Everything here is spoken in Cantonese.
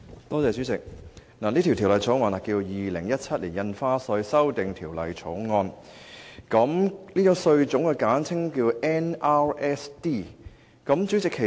代理主席，《2017年印花稅條例草案》旨在引入新住宅印花稅，該稅種簡稱 NRSD。